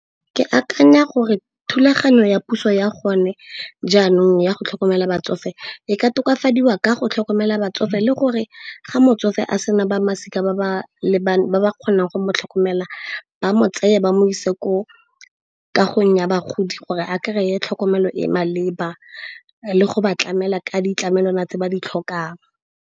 Ke akanya gore thulaganyo ya puso ya gone jaanong ya go tlhokomela batsofe e ka tokafadiwa ka go tlhokomela batsofe, le gore ga motsofe a sena ba masika ba ba kgonang go mo tlhokomelela ba mo tseye ba mo ise ko kagong ya bagodi gore a kry-e tlhokomelo e e maleba, le go ba tlamela ka ditlamelwana tse ba di tlhokang.